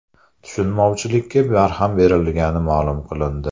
Tushunmovchilikka barham berilgani ma’lum qilindi.